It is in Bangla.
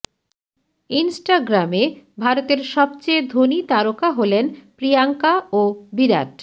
ইন্সটাগ্রামে ভারতের সবচেয়ে ধনী তারকা হলেন প্রিয়াঙ্কা ও বিরাট